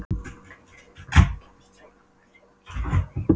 Gautviður, hvenær kemur strætó númer þrjátíu og eitt?